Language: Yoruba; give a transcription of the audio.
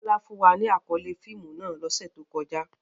Bola fun wa ni akọle fiimu náà lose to koja.